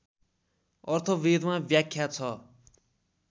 अर्थवेदमा व्याख्या छ